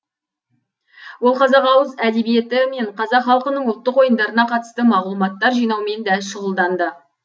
ол қазақ ауыз әдебиеті мен қазақ халқының ұлттық ойындарына қатысты мағлұматтар жинаумен де шұғылданды